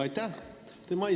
Aitäh!